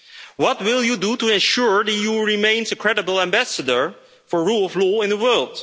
What will you do to ensure the EU remains a credible ambassador for rule of law in the world?